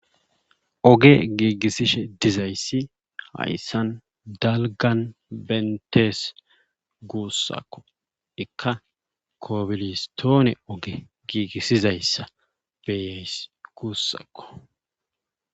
Oge giigisishe dizayssi hayssan dalgan benttes guusako ikka kobilistone oge gigisizayssa beyays guussakko.